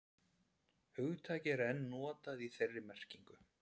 hugtakið er enn notað í þeirri merkingu